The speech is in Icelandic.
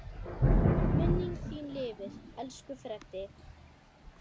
Minning þín lifir, elsku Freddi.